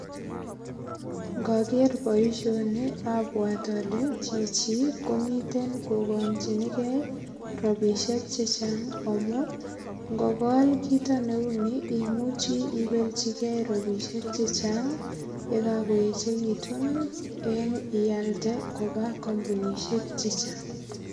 Ngager boisyoni abwat ale, chichi komiten kobangchiniken rapishek chechang amun ngokol kito neuni imuchi ibelchiken rapishek chechang yekakoechekitun eng ialde koba ak kampunisyek chechang .